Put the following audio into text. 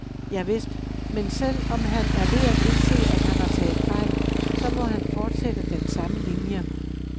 Javist, men selv om han er ved at indse, at han har taget fejl, så må han fortsætte den samme linie.